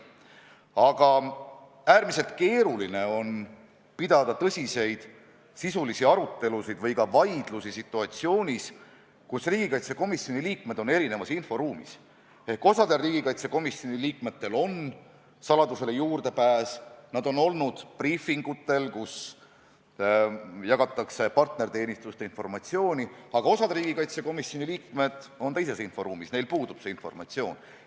Aga äärmiselt keeruline on pidada tõsiseid sisulisi arutelusid või ka vaidlusi situatsioonis, kus riigikaitsekomisjoni liikmed on erinevas inforuumis ehk osal riigikaitsekomisjoni liikmetel on saladusele juurdepääs, nad on olnud briifingutel, kus jagatakse partnerteenistuste informatsiooni, aga osa riigikaitsekomisjoni liikmeid on teises inforuumis, neil puudub see informatsioon.